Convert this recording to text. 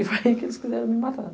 E foi aí que eles quiseram me matar.